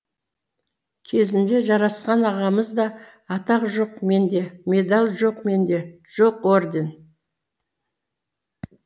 кезінде жарасқан ағамыз да атақ жоқ менде медаль жоқ менде жоқ орден